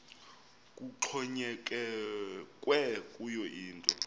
kuxhonyekekwe kuyo yinto